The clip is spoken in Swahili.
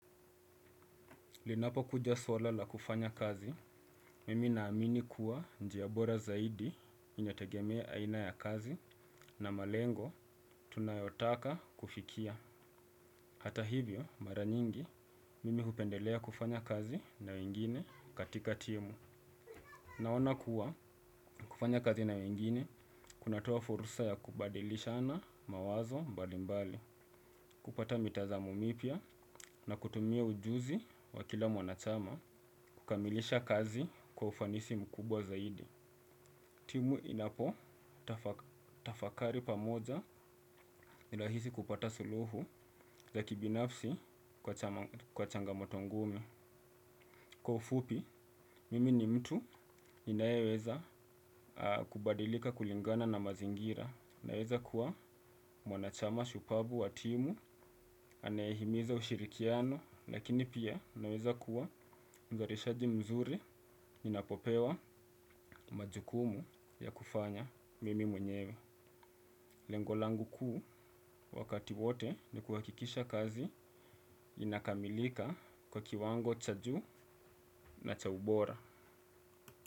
Linapo kuja swala la kufanya kazi, mimi naamini kuwa njia bora zaidi inategemea aina ya kazi na malengo tunayotaka kufikia. Hata hivyo, mara nyingi, mimi hupendelea kufanya kazi na wengine katika timu. Naona kuwa, kufanya kazi na wengine, kunatoa furusa ya kubadilishana mawazo mbalimbali. Kupata mitazamo mipya na kutumia ujuzi wa kila mwanachama kukamilisha kazi kwa ufanisi mkubwa zaidi. Timu inapo tafakari pamoja inahisi kupata suluhu za kibinafsi kwa changamoto ngumu. Kwa ufupi, mimi ni mtu ninayeweza kubadilika kulingana na mazingira. Naweza kuwa mwanachama shupabu wa timu, anayihimiza ushirikiano, lakini pia naweza kuwa mzarishaji mzuri inapopewa majukumu ya kufanya mimi mwenyewe. Lengolangu kuu wakati wote ni kuhakikisha kazi inakamilika kwa kiwango cha juu na cha ubora.